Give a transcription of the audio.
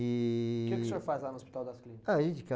E... O que que o senhor faz lá no Hospital das Clínicas? Ah, a gente